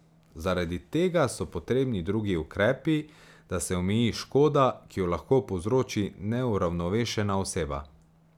Zaradi tega so potrebni drugi ukrepi, da se omeji škoda, ki jo lahko povzroči neuravnovešena oseba.